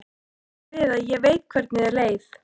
Ég á bara við að ég veit hvernig þér leið.